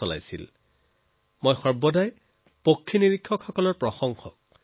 আমি চিৰদিন চৰাইৰ সন্ধানৰ প্ৰতি অনুৰাগী লোকসকলৰ প্ৰশংসাৰ কৰি আহিছো